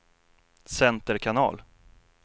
center kanal